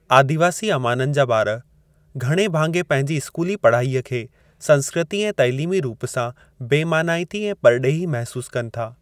आदिवासी अवामनि जा ॿार घणे भाङे पंहिंजी स्कूली पढ़ाईअ खे संस्कृती ऐं तइलीमी रूप सां बेमानाइती ऐं परॾेही महसूस कनि था।